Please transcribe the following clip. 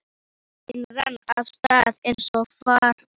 Það var engin bein lína í lífi hennar.